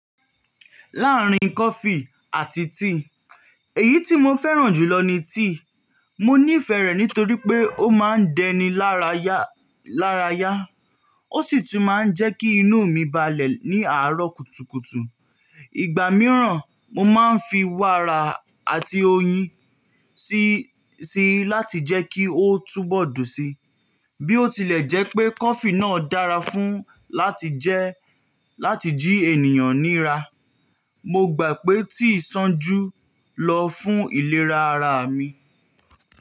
Láàárín coffee àti tea, èyí tí mo fẹ́ràn jùlọ ni tea. Mo nífẹ̀ẹ́ rẹ̀ nítorí pé ó máa ń dẹni lára yá, lára yá. Ó sì tún máa ń jẹ́ kí inú mi balẹ̀ ní àárọ̀ kùtùkùtù. Ìgbà mìíràn, mo máa ń fi wára àti oyin sí síi láti jẹ́ kí ó túbọ̀ dùn síi. Bí ó tilẹ̀ jẹ́ pé coffee náà dára fún láti jẹ́ láti jí ènìyàn nííra, mo gbà pé tea sàn jù lọ fún ìlera ara mi.